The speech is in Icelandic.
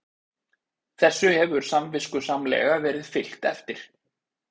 Þessu hefur samviskusamlega verið fylgt eftir